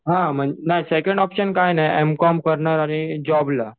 हां नाही second option काही नाही एमकॉम करणार आणि जॉबला.